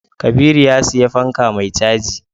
Kabiru ya siya fanka mai caji